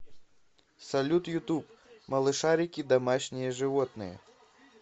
салют ютуб малышарики домашние животные